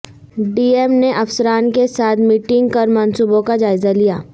D M نے افسران کے ساتھ میٹنگ کرمنصوبوں کاجائزہ لیا